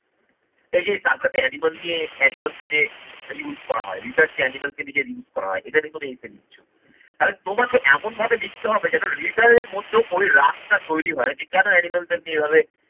এই যে circus এ animals নিয়ে animal কে যে use করা হয়, research এ animal কে নিজের use করা হয় এটা নিয়ে কোনো essay লিখছ, তাহলে তোমাকে এমন ভাবে লিখতে হবে যেন reader এর মধ্যেও ওই রাস্তা তৈরি হয় যে কেন animal দের নিয়ে এভাবে